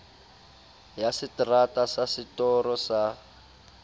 ya seterata sa setoro sa